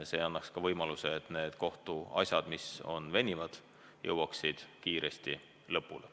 See annaks ka võimaluse, et need kohtuasjad, mis venivad, jõuaksid kiiresti lõpuni.